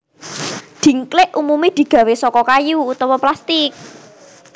Dhingklik umumé digawé saka kayu utawa plastik